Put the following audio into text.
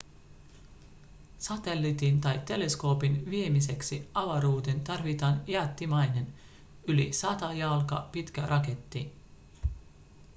satelliitin tai teleskoopin viemiseksi avaruuteen tarvitaan jättimäinen yli 100 jalkaa pitkä raketti